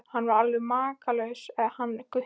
Hann er alveg makalaus hann Gutti.